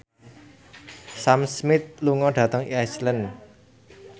Sam Smith lunga dhateng Iceland